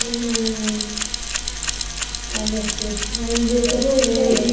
ಹ್ಮ್ ಅದಕ್ಕೆ ಒಂದು ದಿವಸ ಹೋಗಿ ಬರ್ವ.